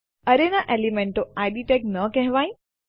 એરેના એલિમેન્ટોને ID tags ન કહેવાય